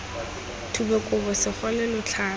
thube kobo segole lo tlhabe